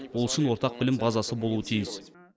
ол үшін ортақ білім базасы болуы тиіс